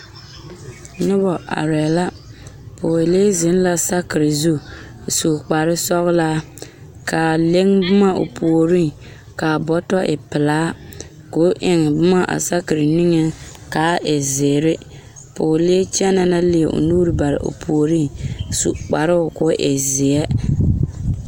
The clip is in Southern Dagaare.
Nona arɛɛ la pɔɔlee zeŋ la sakere zu su kpar sɔgelaa kaa le boma o puoriŋ kaa bɔtɔ e pelaa ko eŋ bon a sakere niŋeŋ kaa e zeere pɔɔlee kyɛnɛ la leɛ o nu bare o puoriŋ su kparoo ko o e zeɛ